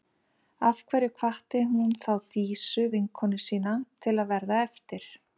Af hverju hvatti hún þá Dísu, vinkonu sína, til að verða eftir?